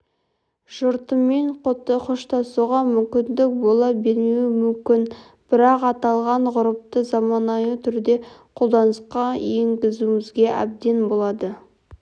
жұртымен қоштасуға мүмкіндік бола бермеуі мүмкін бірақ аталған ғұрыпты заманауи түрде қолданысқа енгізуімізге әбден болады